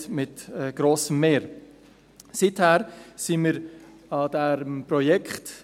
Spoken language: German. Seither arbeiten wir an diesem Projekt.